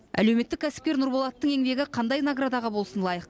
әлеуметтік кәсіпкер нұрболаттың еңбегі қандай наградаға болсын лайық